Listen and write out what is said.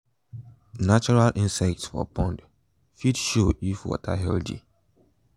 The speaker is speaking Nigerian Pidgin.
natural insects for pond fit show if water healthy